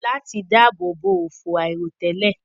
Láti dáàbò bo òfò àìròtẹ́lẹ̀